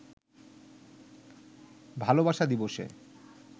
ভালোবাসা দিবসে